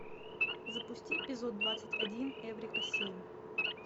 запусти эпизод двадцать один эврика семь